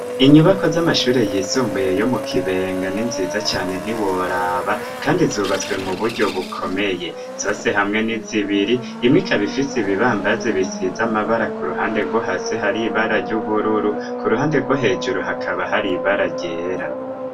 Inyubako z'amashuri yisumbuye yo mu kibenga n'inziza cane ntiworaba, kandi zubatswe mu buryo bukomeye ,zose hamwe n'izibiri, imwe ikaba ifise ibibambazi bisize amabara ,ku ruhande rwo hasi hari ibara ry'ubururu, ku ruhande rwo hejuru hakaba hari ibara ryera.